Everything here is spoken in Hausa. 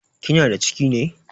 Kina da ciki ne?